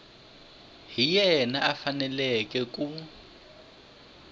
hi yena a faneleke ku